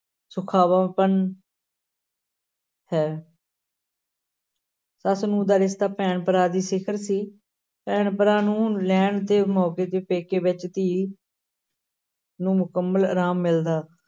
ਸੁਖਾਵਾਂਪਨ ਹੈ ਸੱਸ-ਨੂੰਹ ਦਾ ਰਿਸ਼ਤਾ ਭੈਣ ਭਰਾ ਦੀ ਸਿਖਰ ਸੀ, ਭੈਣ ਭਰਾ ਨੂੰ ਲੈਣ ਤੇ ਪੇਕੇ ਵਿੱਚ ਧੀ ਨੂੰ ਮੁਕੰਮਲ ਅਰਾਮ ਮਿਲਦਾ।